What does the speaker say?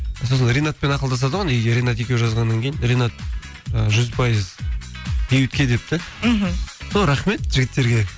сосын ринатпен ақылдасады ғой ринат екеуі жазғаннан кейін ринат ы жүз пайыз бейбітке депті мхм сол рахмет жігіттерге